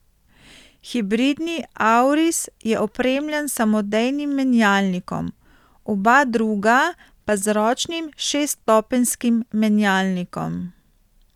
Hibridni auris je opremljen s samodejnim menjalnikom, oba druga pa z ročnim šeststopenjskim menjalnikom.